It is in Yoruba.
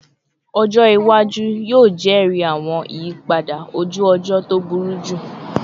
Ọjọ iwaju yoo jẹri awọn iyipada oju-ọjọ to buruju